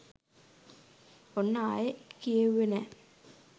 ඔන්න ආයේ කියෙව්වේ නෑ.